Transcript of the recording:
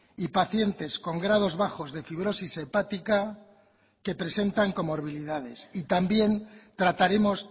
y pacientes con grados bajos de fibrosis hepática que presentan y también trataremos